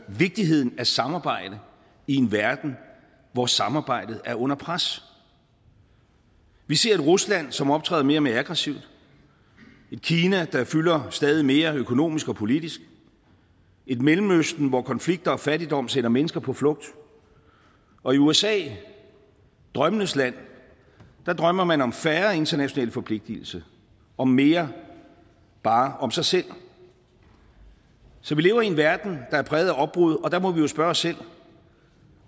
vigtigheden af samarbejde i en verden hvor samarbejde er under pres vi ser et rusland som optræder mere og mere aggressivt et kina der fylder stadig mere økonomisk og politisk et mellemøsten hvor konflikter og fattigdom sender mennesker på flugt og i usa drømmenes land drømmer man om færre internationale forpligtelser og mere bare om sig selv så vi lever i en verden der er præget af opbrud og der må vi jo spørge os selv